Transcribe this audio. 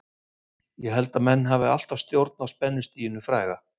Ég held að menn hafi alltaf stjórn á spennustiginu fræga.